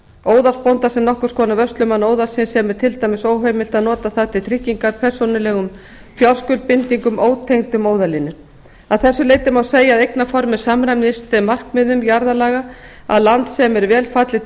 óðalsbónda sem nokkurs konar vörslumann óðalsins sem er til dæmis óheimilt að nota það til tryggingar persónulegum fjárskuldbindingum ótengdum óðalinu að þessu leyti má segja að eignarformið samræmist þeim markmiðum jarðalaga að land sem vel er fallið til